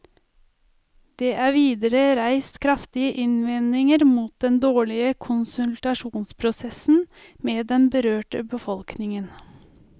Det er videre reist kraftige innvendinger mot den dårlige konsultasjonsprosessen med den berørte befolkningen.